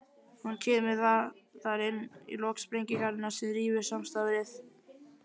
Hún kemur þar inn í lok sprengingarinnar sem rýfur samstarfið.